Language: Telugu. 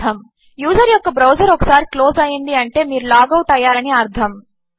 యూజర్ యొక్క బ్రౌజర్ ఒకసారి క్లోజ్ అయింది అంటే మీరు లాగ్ అవుట్ అయ్యారు అని అర్ధము